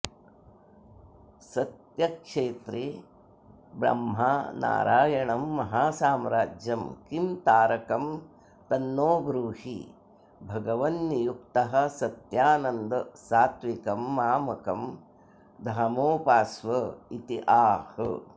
सत्यक्षेत्रे ब्रह्मा नारायणं महासाम्राज्यं किं तारकं तन्नो ब्रूहि भगवन्नित्युक्तः सत्यानन्द सात्त्विकं मामकं धामोपास्वेत्याह